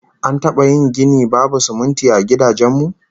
An taba yin gini babu sumunti a gidajen mu?